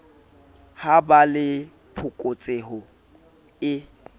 ha ba le phokotseho e